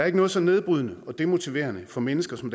ikke noget så nedbrydende og demotiverende for mennesker som